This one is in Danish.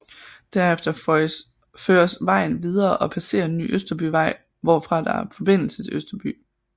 Derefter føres vejen videre og passerer Ny Østerbyvej hvorfra der er forbindelse til Østerby